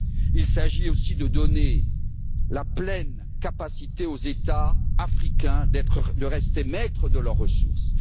Il s'agit aussi de donner la pleine capacité aux États africains de rester maîtres de leurs ressources.